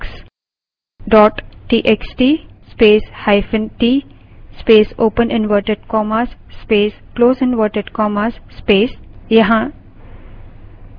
space marks dot txt space hyphen t space open inverted commas space close inverted commas space